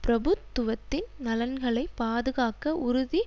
பிரபுத்துவத்தின் நலன்களை பாதுகாக்க உறுதி